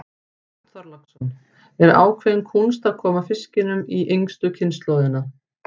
Björn Þorláksson: Er ákveðin kúnst að koma fiskinum í yngstu kynslóðina?